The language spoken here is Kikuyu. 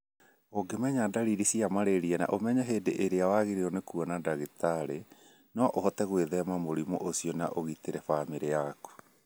Ũngĩmenya ndariri cia malaria na ũmenye hĩndĩ ĩrĩa wagĩrĩirũo nĩ kuona ndagĩtarĩ, no ũhote gwĩthema mũrimũ ũcio na ũgitĩre famĩlĩ yaku.